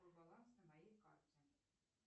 какой баланс на моей карте